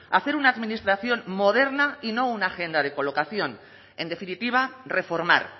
hacer una administración moderna y no una agenda de colocación en definitiva reformar